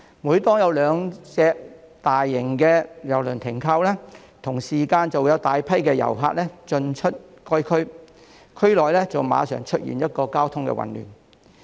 每當有兩艘大型郵輪停靠，就會同時間有大量遊客進出該區，令區內馬上出現交通混亂。